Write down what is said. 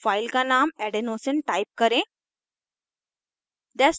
file का name adenosine adenosine type करें